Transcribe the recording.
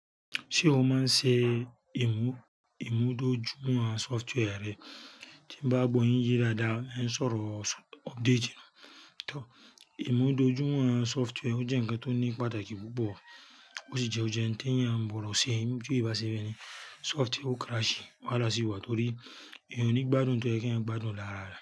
Ṣé o máa ń ṣe ìmúdójúmọ̀ software rẹ? Tí n bá gbo yin ye dáadáa, e ń sọ̀rọ̀ update. Ìmúdójúmọ̀ software jẹ́ ǹkan tó ní pàtàkì púpọ̀ ó sì jẹ́ ohun tí ẹ́ yàn gbọ̀do se. Bí ó bá ṣe bẹ́ẹ̀ ni software ó crash, wáhala o ṣi wá torí eeyan o ní gbádùn ohun tó ye kí ẹeeyan gbádùn lára rẹ̀